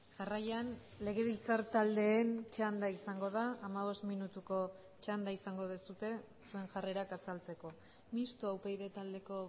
jarraian legebiltzar taldeen txanda izango da hamabost minutuko txanda izango duzue zuen jarrerak azaltzeko mistoa upyd taldeko